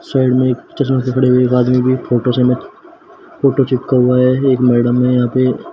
side में एक चश्मा पकड़े हुए एक आदमी भी फोटो चम फोटो चिपका हुआ है एक मैडम है यहां पे--